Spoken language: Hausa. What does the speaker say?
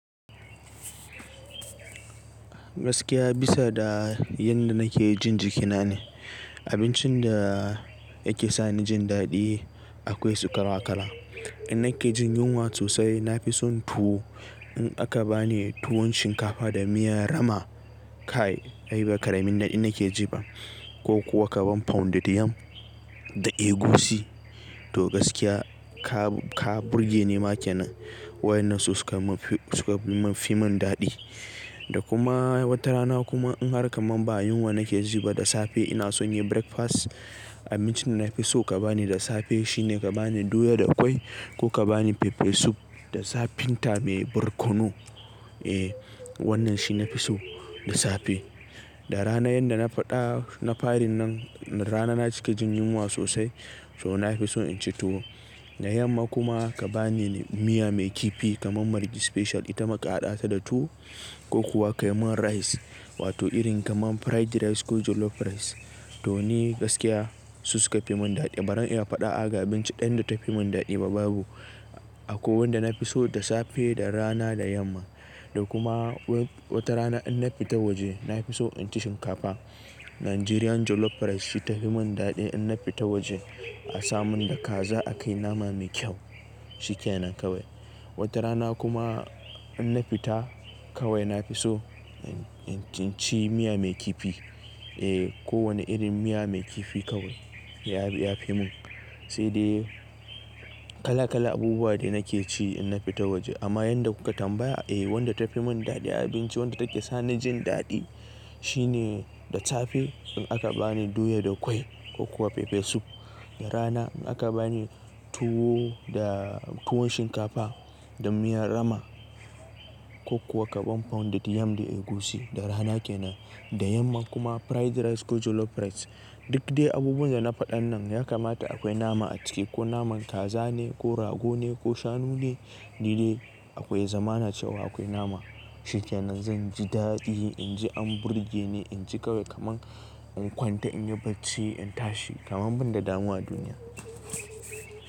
Gaskiya bisa da yanda nake jin jikina ne. Abincin da yake sa ni jin daɗi akwai su kala kala. In nake jin yunwa sosai na fi son tuwo. In aka bani tuwon shinkafa da miyar rama kai ai ba karamin naɗi nake ji ba ko kuwa kabon pounded yam da egusi to gaskiya ka, ka burge ni ma kenen. Waɗannan su suka fi mun daɗi. Da kuma wata rana kuma in har kaman ba yunwa nake ji ba da safe ina son yin breakfast abincin da na fi so ka bani da safe shine ka bani doya da kwai ko ka bani peppe soup da zafinta mai barkono. Eh wannan shi nafi so da safe. Da rana yanda na faɗa na farin nan rana na cika jin yunwa sosai to na fi so inci tuwo. Da yamma kuma ka bani miya mai kifi kaman margi special ita ma ka haɗa ta da tuwo ko kuwa ka yi mun rice wato irin kaman fried rice ko jollof rice to ni gaskiya su suka fi mun daɗi. Barin in faɗa a ga abinci ɗaya da tafi mun daɗi ba babu. Akwai wanda nafi so da safe, da rana, da yamma. Da kuma wata rana in na fita waje nafi so inci shinkafa. Nigerian jollof rice shi tafi mun daɗi in na fita waje a samun da kaza a kai nama mai kyau, shi kenan kawai. Wata rana kuma in na fita kawai nafi so inci miya mai kifi. Eh ko wani irin miya mai kifi kawai ya fi mun. Sai dai kala kala abubuwa de nake ci in na fita waje amma yanda kuka tambaya eh wanda tafi mun daɗi abinci wanda take sa ni jin daɗi shine da safe in aka bani doya da kwai ko kuwa pepper soup. Da rana in aka bani tuwo da tuwon shinkafa da miyar rama ko kuwa kabon pounded yam da egusi da rana kenan. Da yamma kuma fried rice ko jollof rice. Duk dai abubuwan da na faɗan nan ya kamata akwai nama a ciki ko naman kaza ne ko rago ne ko shanu ne. Ni dai akwai ya zamana cewa akwai nama shi kenan zanji daɗi, inji an burge ni, inji kawai kaman in kwanta in yi bacci in tashi kaman ban da damuwa a duniya.